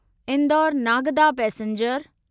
Indore Nagda passenger